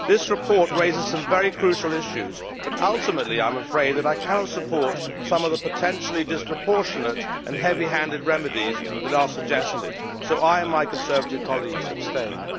This report raises some very crucial issues but, ultimately, I am afraid that I cannot support some of the potentially disproportionate and heavy handed remedies that are suggested, so I and my Conservative colleagues abstained.